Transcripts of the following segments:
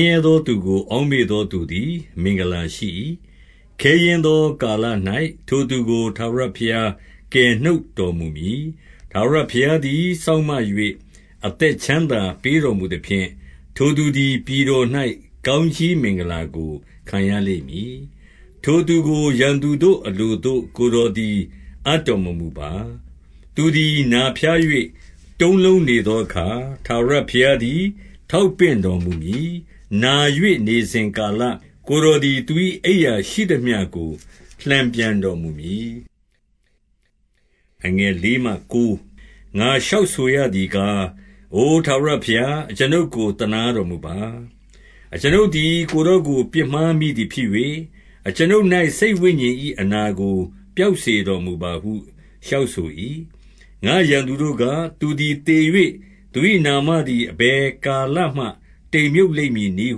င်းရဲသောသူကို အောက်မေ့သောသူသည် မင်္ဂလာရှိ၏။ ခဲယဉ်းသောကာလ၌ ထိုသူကို ထာဝရ ဘုရား ကယ်နှုတ်တော်မူမည်။ 2 ထာဝရဘုရားသည် စောင့်မ၍ အသက်ချမ်း သာပေးတော်မူသဖြင့်၊ ထိုသူသည် ပြည်တော်၌ ကောင်းကြီးမင်္ဂလာကို ခံရလိမ့်မည်။ ထိုသူကို ရန်သူတို့ အလိုသို့ ကိုယ်တော်သည် အပ်တော်မမူပါ။ 3 သူသည်နာဖျား၍ တုံးလုံးနေသောအခါ၊ ထာဝရ ဘုရားသည် ထောက်ပင့်တော်မူမည်။ နာ၍နေစဉ်ကာလ ကိုယ်တော်သည် သူ၏အိပ်ရာရှိသမျှကို လှန်ပြန်တော် မူမည်။ 4 ငါလျှောက်ဆိုရသည်ကား၊ အိုထာဝရဘုရား၊ အကျွန်ုပ်ကို သနားတော်ပါ။ အကျွန်ုပ်သည် ကိုယ်တော် ကို ပြစ်မှားမိသည်ဖြစ်၍၊ အကျွန်ုပ်၌ စိတ်ဝိညာဉ်၏ အနာကိုပျောက်စေတော်မူပါဟု လျှောက်ဆို၏။ 5 ငါ့ရန်သူတို့က၊ သူသည်သေ၍ သူ၏နာမသည် အဘယ်ကာလမှ တိမ်မြှပ်လိမ့်မည်နည်း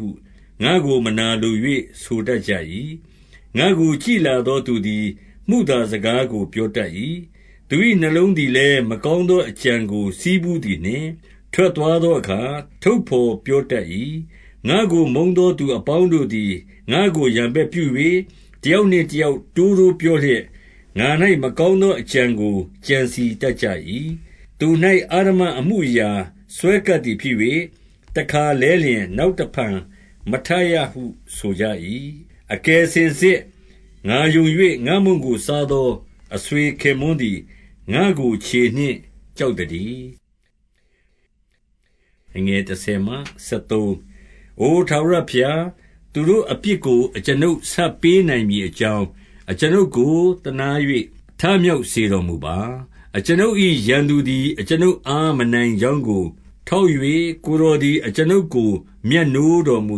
ဟု ငါ့ကိုမနာလို၍ ဆိုတတ်ကြ၏။ 6 ငါ့ကို ကြည့်လာသောသူသည် မုသာစကားကို ပြောတတ်၏။ သူ၏နှလုံးသည်လည်း မကောင်းသော အကြံကို ဆည်းဖူးသည်နှင့်၊ ထွက်သွားသောအခါ ထုတ်ဘော်ပြောတတ်၏။ 7 ငါ့ကိုမုန်းသော သူအပေါင်းတို့သည် ငါ့ကို ရန်ဘက်ပြု၍၊ တယောက်နှင့်တယောက် တိုးတိုးပြော လျက်၊ ငါ၌မကောင်းသောအကြံကို ကြံစည်တတ်ကြ၏။ 8 သူ၌ အဓမ္မအမှုအရာစွဲကပ်သည်ဖြစ်၍၊ တခါလဲလျှင် နောက်တဖန်မထရဟု ဆိုကြ၏။ 9 အကယ်စင်စစ်ငါယုံ၍၊ ငါ့မုန့်ကိုစားသော အဆွေခင်ပွန်းသည် ငါ့ကို ခြေနှင့်ကျောက်သတည်း။ 10 အိုထာဝရဘုရား၊ သူတို့အပြစ်ကို အကျွန်ုပ် ဆပ်ပေးနိုင်မည်အကြောင်း၊ အကျွန်ုပ်ကို သနား၍ ထမြောက်စေတော်မူပါ။ 11 အကျွန်ုပ်၏ ရန်သူသည် အကျွန်ုပ်အား မနိုင် ကြောင်းကို ထောက်၍၊ ကိုယ်တော်သည် အကျွန်ုပ် မြတ်နိုးတော်မူ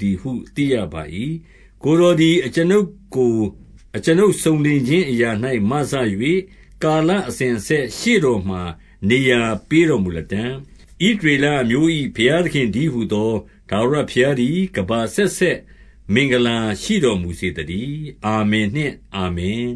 သည်ဟု သိရပါ၏။ 12 ကိုယ်တော်သည် အကျွန်ုပ်ကို အကျွန်ုပ်စုံလင် ခြင်းအရာ၌မစ၍၊ ကာလအစဉ်အဆက် ရှေ့တော်ထံမှာ နေရာပေးတော်မူလတံ့။ 13 ဣသရေလအမျိုး၏ဘုရားသခင်တည်းဟူ သော ထာဝရဘုရားသည် ကမ္ဘာအဆက်ဆက်မင်္ဂလာ ရှိတော်မူစေသတည်း။ အာမင်နှင့် အာမင်